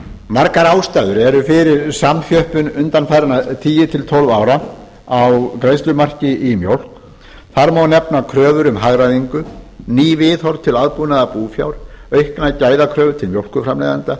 margar ástæður eru fyrir samþjöppun undanfarinna tíu til tólf ára á greiðslumarki í mjólk þar má nefna kröfur um hagræðingu ný viðhorf til aðbúnaðar búfjár auknar gæðakröfur til mjólkurframleiðenda